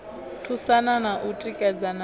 thusana na u tikedzana na